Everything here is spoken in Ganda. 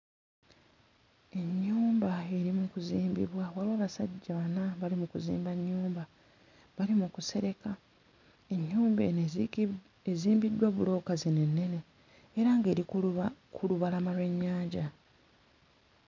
Ennyumba eri mu kuzimbibwa abasajja bana bali mu kuzimba nnyumba, bali mu kusereka, nnyumba eno eziki... ezimbiddwa bbulooka zino ennene era ng'eri ku luba ku lubalama lw'ennyanja.